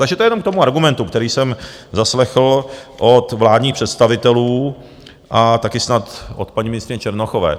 Takže to je jenom k tomu argumentu, který jsem zaslechl od vládních představitelů a také snad od paní ministryně Černochové.